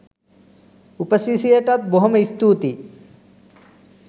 උපසිරැසියටත් බොහොම ස්තූතියි